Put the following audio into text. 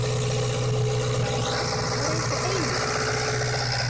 Þetta var eins og eilífð.